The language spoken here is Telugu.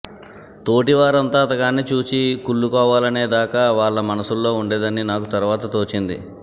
తోటివారంతా అతగాణ్ణి చూచి కుళ్లుకోవాలనేదాకా వాళ్ల మనసుల్లో ఉండేదని నాకు తరువాత తోచింది